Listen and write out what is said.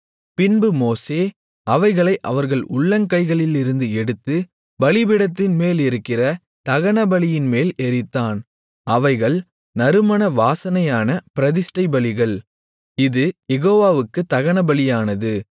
பின்பு மோசே அவைகளை அவர்கள் உள்ளங்கைகளிலிருந்து எடுத்து பலிபீடத்தின்மேலிருக்கிற தகனபலியின்மேல் எரித்தான் அவைகள் நறுமண வாசனையான பிரதிஷ்டை பலிகள் இது யெகோவாவுக்குத் தகனபலியானது